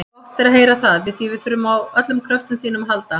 Gott er að heyra það, því við þurfum á öllum kröftum þínum að halda.